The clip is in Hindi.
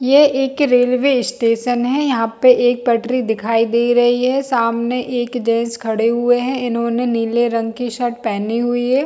ये एक रेलवे स्टेशन है यहाँ पे एक पटरी दिखाई दे रही है समाने एक जेंट्स खड़े हुए है इन्होने नीले रंग की शर्ट पहनी हुए है।